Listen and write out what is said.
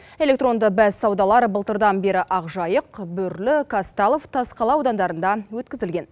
электронды бәссаудалар былтырдан бері ақжайық бөрлі казталов тасқала аудандарында өткізілген